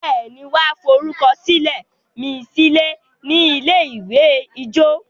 béèni wan forukọsilẹ mí silẹ ní ilé-ìwé ijó?